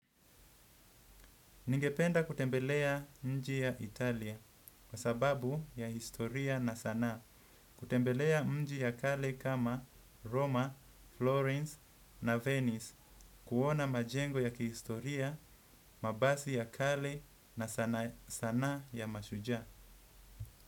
Ningependa kutembelea mji ya Italia kwa sababu ya historia na sana, kutembelea mji ya kale kama Roma, Florence na Venice kuona majengo ya kihistoria, mabasi ya kale na sanaa ya mashujaa.